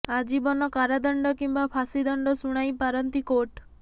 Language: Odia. ଆଜୀବନ କାରାଦଣ୍ଡ କିମ୍ବା ଫାଶୀ ଦଣ୍ଡ ଶୁଣାଇ ପାରନ୍ତି କୋର୍ଟ